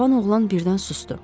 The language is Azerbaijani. Cavan oğlan birdən susdu.